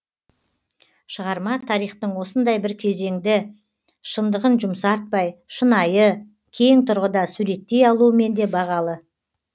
шығарма тарихтың осындай бір кезеңді шындығын жұмсартпай шынайы кең тұрғыда суреттей алуымен де бағалы